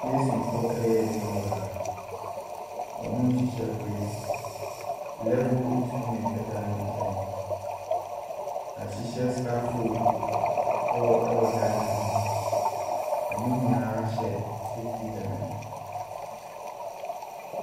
Masonfoɔ reya adwuma wɔ ha. Wɔrehyehyɛ bricks. Level instument da ne nkyɛn. Wɔahyehyɛ scaffold wɔ dan no ho. Wɔn nyinaa hyɛ safetel helmet.